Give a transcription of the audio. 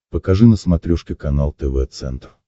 покажи на смотрешке канал тв центр